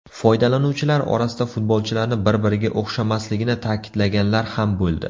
Foydalanuvchilar orasida futbolchilarni bir-biriga o‘xshamasligini ta’kidlaganlar ham bo‘ldi.